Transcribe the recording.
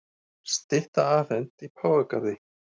Stytta afhent í Páfagarði